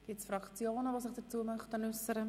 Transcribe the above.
Wünschen sich Fraktionen dazu zu äussern?